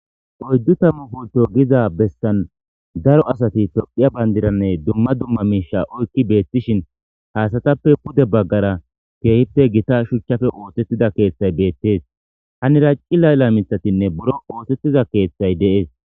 Oydu tammu pulto gizason besan daro asat tophiya bandiranne dumma dumma miisha oykid betishin ha asatappe pude bagara keehippe gitavshuchappe osetida keethay betes, haniravcilila mithatinne buro isetiza keethay de'es